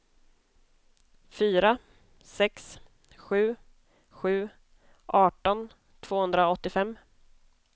fyra sex sju sju arton tvåhundraåttiofem